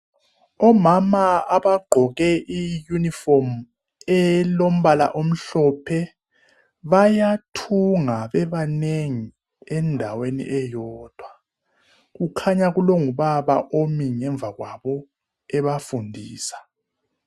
Omama abagqoke iyunifomu elombala omhlophe bayathunga bebanengi endaweni eyodwa kukhanya kulongubaba omi ngemva kwabo ebafundisa.